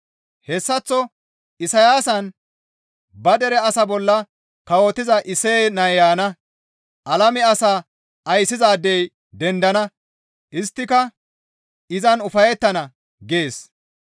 Hessaththo Isayaasan, «Ba dere asaa bolla kawotiza Isseye nay yaana. Alame asaa ayssizaadey dendana; isttika izan ufayettana» gees.